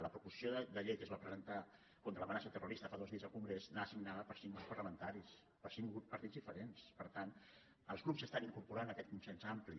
la proposició de llei que es va presentar contra l’amenaça terrorista fa dos dies al congrés anava signada per cinc grups parlamentaris per cinc partits diferents per tant els grups s’estan incorporant a aquest consens ampli